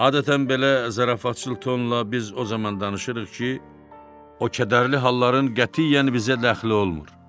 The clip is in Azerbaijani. Adətən belə zarafatçıl tonla biz o zaman danışırıq ki, o kədərli halların qətiyyən bizə dəxli olmur.